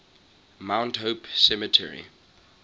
mount hope cemetery